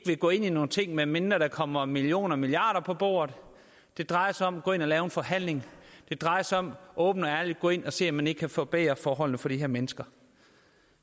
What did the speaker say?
ville gå ind i nogle ting medmindre der kommer millioner og milliarder på bordet det drejer sig om at gå ind og lave en forhandling det drejer sig om åbent og ærligt at gå ind og se om man ikke kan forbedre forholdene for de her mennesker